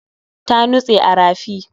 Ta nutse a rafi